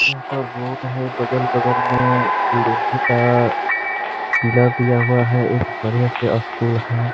यहाँ पर बोट है बगल-बगल में लोहे का दिया हुआ है। एक बढ़िया सा स्कूल है।